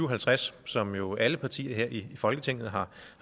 og halvtreds som jo alle partier her i folketinget har